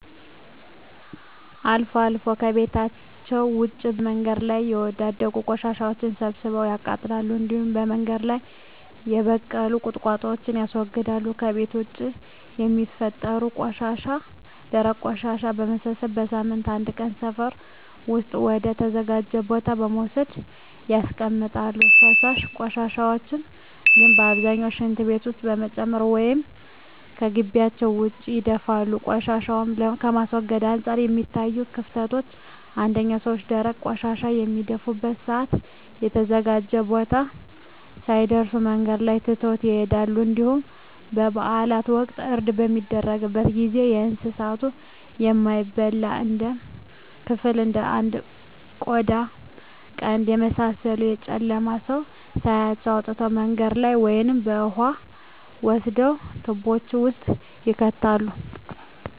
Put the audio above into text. አልፎ አልፎ ከቤታቸዉ ውጭ በመንገድ ላይ የወዳደቁ ቆሻሻወችን ሰብስበው ያቃጥላሉ እንዲሁም በመንገድ ላይ የበቀሉ ቁጥቋጦወችን ያስወግዳሉ። ከቤት ውስጥ የሚፈጠሩ ደረቅ ቆሻሻወችን በመሰብሰብ በሳምንት አንድ ቀን ሰፈር ውስጥ ወደ ተዘጋጀ ቦታ በመውሰድ ያስቀምጣሉ። ፈሳሽ ቆሻሻን ግን በአብዛኛው ሽንት ቤት ውስጥ በመጨመር ወይም ከጊቢያቸው ውጭ ይደፋሉ። ቆሻሻን ከማስወገድ አንፃር የሚታዩት ክፍተቶች አንደኛ ሰወች ደረቅ ቆሻሻን በሚደፉበት ሰአት በተዘጋጀው ቦታ ሳይደርሱ መንገድ ላይ ትተው ይሄዳሉ እንዲሁም በበአላት ወቅት እርድ በሚደረግበት ጊዜ የእንሳቱን የማይበላ ክፍል እንደ ቆዳ ቀንድ የመሳሰሉትን በጨለማ ሰው ሳያያቸው አውጥተው መንገድ ላይ ወይም የውሃ መስደጃ ትቦወች ውስጥ ይከታሉ።